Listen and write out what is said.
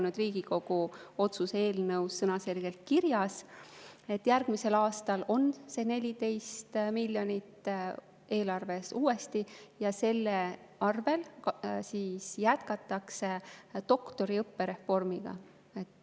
See on Riigikogu otsuse eelnõus sõnaselgelt kirjas, et järgmisel aastal on see 14 miljonit uuesti eelarves ja selle jätkatakse doktoriõppe reformi.